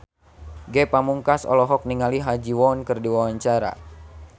Ge Pamungkas olohok ningali Ha Ji Won keur diwawancara